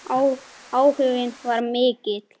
Áhuginn var mikill.